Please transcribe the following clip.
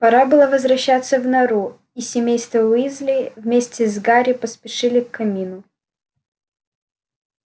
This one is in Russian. пора было возвращаться в нору и семейство уизли вместе с гарри поспешили к камину